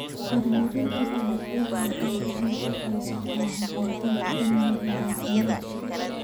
Horumarinta dalagyadu waxay gacan ka geysataa hagaajinta amniga caafimaadka.